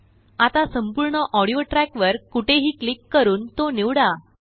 आता संपूर्ण audio track वर कोठेही क्लिक करून तोनिवडा